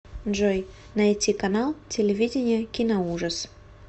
джой найти канал телевидения киноужас